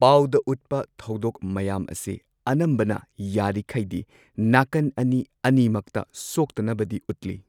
ꯄꯥꯎꯗ ꯎꯠꯄ ꯊꯧꯗꯣꯛ ꯃꯌꯥꯝ ꯑꯁꯤ ꯑꯅꯝꯕꯅ ꯌꯥꯔꯤꯈꯩꯗꯤ ꯅꯥꯀꯟ ꯑꯅꯤ ꯑꯅꯤꯃꯛꯇ ꯁꯣꯛꯇꯅꯕꯗꯤ ꯎꯠꯂꯤ꯫